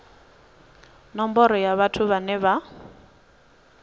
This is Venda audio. nomboro ya vhathu vhane vha